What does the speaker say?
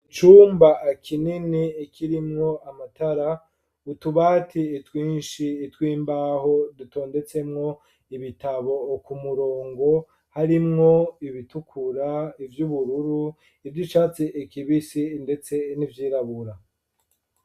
Icumba kinini, kirimwo amatara, utubati twinshi, tw'imbaho, dutondetsemwo ibitabo, ku murongo; harimwo ibitukura, ivy'ubururu, ivy'icatsi kibisi, ndetse n'ivyirabura.